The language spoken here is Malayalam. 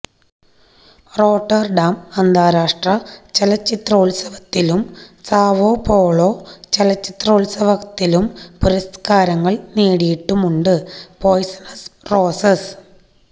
റോട്ടര്ഡാം അന്താരാഷ്ട്ര ചലച്ചിത്രോത്സവത്തിലും സാവോപോളോ ചലച്ചിത്രോത്സവത്തിലും പുരസ്കാരങ്ങള് നേടിയിട്ടുമുണ്ട് പോയ്സണസ് റോസസ്